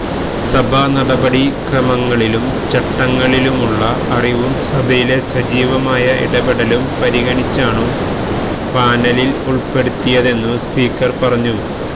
സഭാനടപടിക്രമങ്ങളിലും ചട്ടങ്ങളിലുമുള്ള അറിവും സഭയിലെ സജീവമായ ഇടപെടലും പരിഗണിച്ചാണു പാനലിൽ ഉൾപ്പെടുത്തിയതെന്നു സ്പീക്കർ പറഞ്ഞു